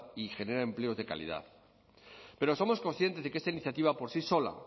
y genera empleos de calidad pero somos conscientes de que esta iniciativa por sí sola